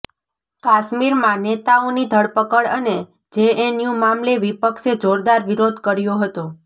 કાશ્મીરમાં નેતાઓની ધરપકડ અને જેએનયુ મામલે વિપક્ષે જોરદાર વિરોધ કર્યો હતો